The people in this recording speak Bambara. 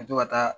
Ka to ka taa